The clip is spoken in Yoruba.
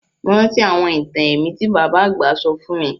Mo rántí àwọn itan ẹ̀mí ti baba àgbà sọ fun mi